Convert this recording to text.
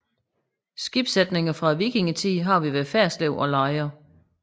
Skibssætninger fra vikingetiden har vi ved Ferslev og Lejre